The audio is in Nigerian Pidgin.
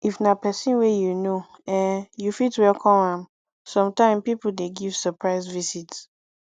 if na person wey you know um you fit welcome am sometime pipo dey give surprise visit